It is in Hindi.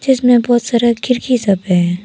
जिसमें बहुत सारा खिड़की सब हैं।